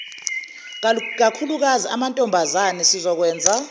kakhulukazi amantombazane sizokwenza